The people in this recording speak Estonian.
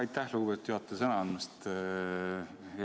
Aitäh, lugupeetud juhataja, sõna andmast!